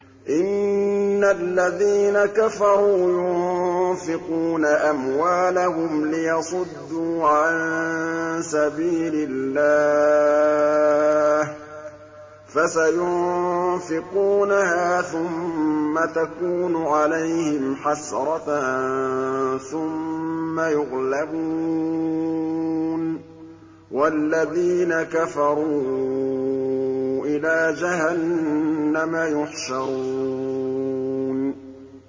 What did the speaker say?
إِنَّ الَّذِينَ كَفَرُوا يُنفِقُونَ أَمْوَالَهُمْ لِيَصُدُّوا عَن سَبِيلِ اللَّهِ ۚ فَسَيُنفِقُونَهَا ثُمَّ تَكُونُ عَلَيْهِمْ حَسْرَةً ثُمَّ يُغْلَبُونَ ۗ وَالَّذِينَ كَفَرُوا إِلَىٰ جَهَنَّمَ يُحْشَرُونَ